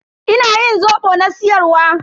Ina yin zobo na siyar wa.